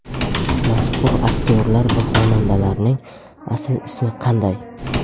Mashhur aktyorlar va xonandalarning asl ismi qanday?.